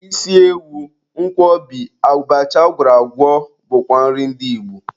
Isi ewu, Nkwobi, abacha agwọrọ agwọ bụkwa nri ndị Igbo.